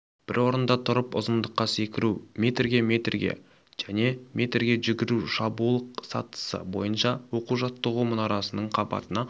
бір орында тұрып ұзындыққа секіру метрге метрге және метрге жүгіру шабуыл сатысы бойынша оқу-жаттығу мұнарасының қабатына